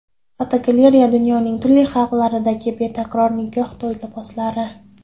Fotogalereya: Dunyoning turli xalqlaridagi betakror nikoh to‘yi liboslari.